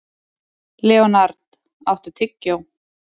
Leonhard, áttu tyggjó?